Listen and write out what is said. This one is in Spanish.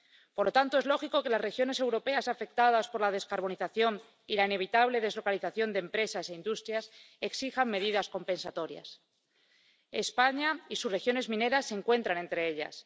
Por lo tanto, es lógico que las regiones europeas afectadas por la descarbonización y la inevitable deslocalización de empresas e industrias exijan medidas compensatorias. España y sus regiones mineras se encuentran entre ellas.